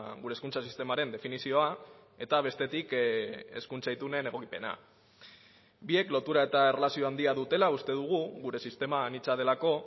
gure hezkuntza sistemaren definizioa eta bestetik hezkuntza itunen egokipena biek lotura eta erlazio handia dutela uste dugu gure sistema anitza delako